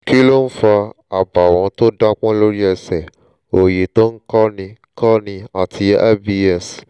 kí ló ń fa àbàwọ́n tó dápọ́n lórí ẹsẹ̀ òòyì tó ń kọ́ni kọ́ni àti ibs?